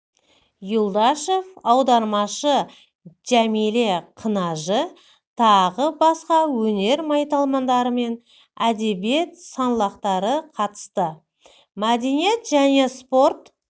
юлдашов аудармашы жәмиле қынажы тағы басқы өнер майталмандары мен әдебиет саңлақтары қатысты мәдениет және спорт